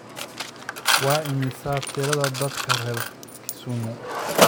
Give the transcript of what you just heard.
Waa imisa tirada dadka reer Kisumu?